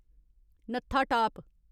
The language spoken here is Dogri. नत्था टाप